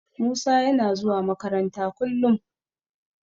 Musa yana zuwa makaranta kullum.